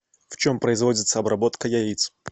в чем производится обработка яиц